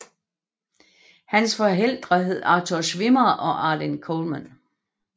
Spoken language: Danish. Hans forældre hedder Arthur Schwimmer og Arlene Colman